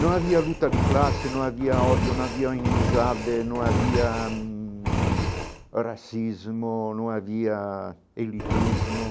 Não havia luta de classe, não havia ódio, não havia inimizade, não havia hum racismo, não havia elitismo.